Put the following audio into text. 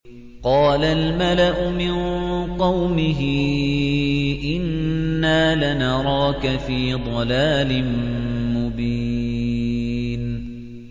قَالَ الْمَلَأُ مِن قَوْمِهِ إِنَّا لَنَرَاكَ فِي ضَلَالٍ مُّبِينٍ